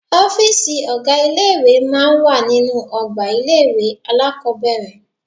Ọ́fìsì ọ̀gá ilé ìwé máa ń wà nínú ọgbà ilé-ìwé alákọ́bẹ̀rẹ̀